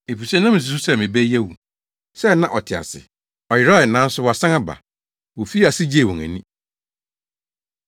efisɛ na misusuw sɛ me ba yi awu, sɛɛ na ɔte ase; ɔyerae, nanso wasan aba.’ Wofii ase gyee wɔn ani.